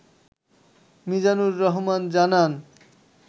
মিজানুর রহমান জানান